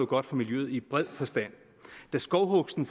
godt for miljøet i bred forstand da skovhugsten